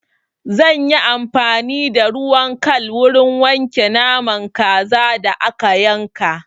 Zan yi amfani da ruwan kal wurin wanke naman kazan da aka yanka.